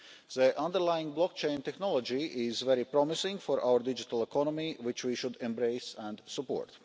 The underlying blockchain technology is very promising for our digital economy, which we should embrace and support.